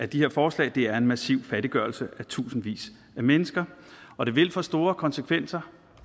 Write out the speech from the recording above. de her forslag er en massiv fattiggørelse af tusindvis af mennesker og det vil få store konsekvenser